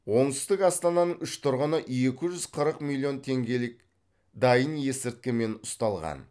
оңтүстік астананың үш тұрғыны екі жүз қырық миллион теңгелік дайын есірткімен ұсталған